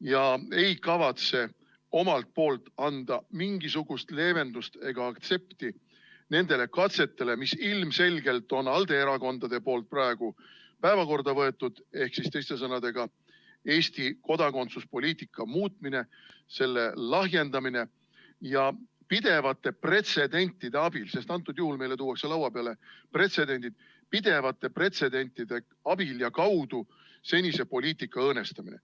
ja ei kavatse omalt poolt anda mingisugust leevendust ega aktsepti nendele katsetele, mille ilmselgelt on ALDE erakonnad praegu päevakorda võtnud, ehk teiste sõnadega, Eesti kodakondsuspoliitika muutmine, selle lahjendamine ning pidevate pretsedentide abil ja nende kaudu, sest antud juhul tuuakse meile lauale pretsedendid, senise poliitika õõnestamine.